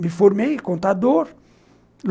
Me formei em contador.